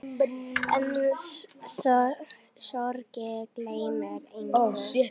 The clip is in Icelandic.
En sorgin gleymir engum.